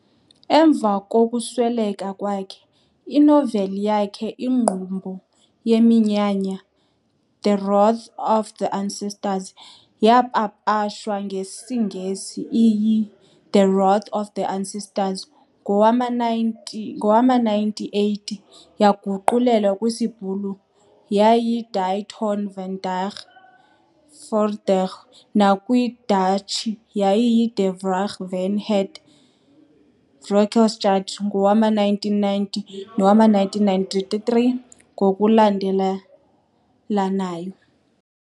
Emva kokusweleka kwakhe, inoveli yakhe Ingqumbo Yeminyanya, the The Wrath of the Ancestors, yapapashwa ngesiNgesi iyi- The Wrath of the Ancestors ngowama-19 ngowama-1980, yaguqulelwa kwisiBhulu yayi- Die Toorn van die Voorvaders nakwisiDatshi yayi- De Wraak van het Voorgeslacht ngowama-1990 nowama-1993 ngokulandelelanayo.